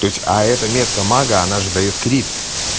то есть а эта метка мага она же даёт крид